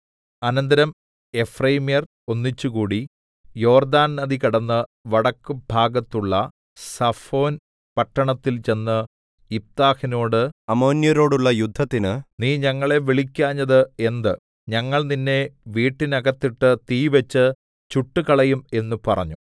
അനന്തരം എഫ്രയീമ്യർ ഒന്നിച്ചുകൂടി യോര്‍ദാന്‍ നദി കടന്ന് വടക്ക് ഭാഗത്തുള്ള സഫോന്‍ പട്ടണത്തില്‍ ചെന്ന് യിഫ്താഹിനോട് അമ്മോന്യരോടുള്ള യുദ്ധത്തിന് നീ ഞങ്ങളെ വിളിക്കാഞ്ഞത് എന്ത് ഞങ്ങൾ നിന്നെ വീട്ടിനകത്തിട്ട് തീ വെച്ചു ചുട്ടുകളയും എന്ന് പറഞ്ഞു